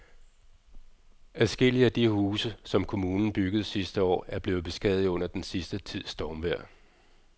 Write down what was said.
Adskillige af de huse, som kommunen byggede sidste år, er blevet beskadiget under den sidste tids stormvejr.